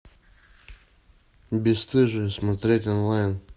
бесстыжие смотреть онлайн